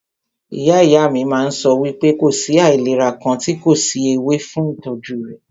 Ìyá ìyá mí máà ń sọ wípé kò sí àìlera kàn tí kò sí ewé fún ìtọ́jú rẹ̀.